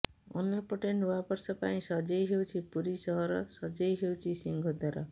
ଅନ୍ୟପଟେ ନୂଆ ବର୍ଷ ପାଇଁ ସଜେଇ ହେଉଛି ପୁରୀ ସହର ସଜେଇ ହେଉଛି ସିଂହଦ୍ୱାର